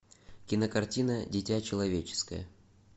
кинокартина дитя человеческое